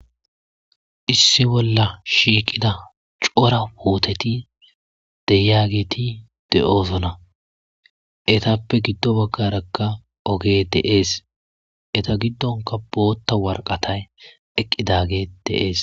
Issi bolla shiiqida cora wooteti de'iyageeti de'oosona. Etappe giddo baggarakka oge de'ees. Eta giddonka bootta worqatayi eqqidage de'ees.